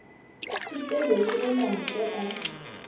pipelo ke ge mantle a